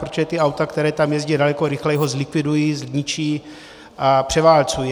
Protože ta auta, která tam jezdí daleko rychleji, ho zlikvidují, zničí a převálcují.